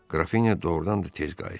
Qrafinya doğrudan da tez qayıtdı.